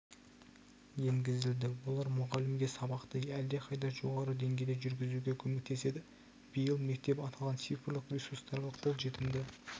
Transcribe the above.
енгізілді олар мұғалімге сабақты әлдеқайда жоғары деңгейде жүргізуге көмектеседі биыл мектеп аталған цифрлық ресурстарға қолжетімді